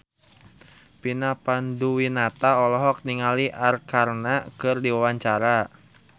Vina Panduwinata olohok ningali Arkarna keur diwawancara